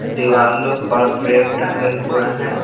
दीवालों पर फ्रेम टंगे हुए हैं।